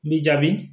N b'i jaabi